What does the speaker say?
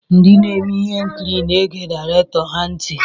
Ndị na-eme ihe nkiri na-ege direktọr ha ntị.